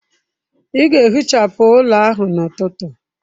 Ị ga-ehichapụ ụlọ ahụ n'ụtụtụ!